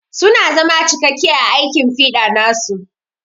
Su na zama cikakke a aikin fiɗa nasu.